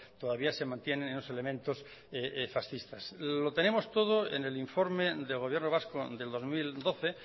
todavía se mantienen los elementos fascistas lo tenemos todo en el informe del gobierno vasco del dos mil doce